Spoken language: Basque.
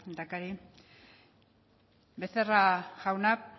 lehendakari becerra jauna